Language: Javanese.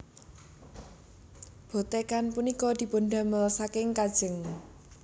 Bothekan punika dipundamel saking kajeng